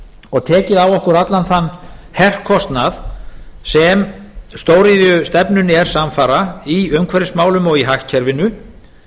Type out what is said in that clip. og tekið á okkur allan þann herkostnað sem stóriðjustefnunni er samfara í umhverfismálum og í hagkerfinu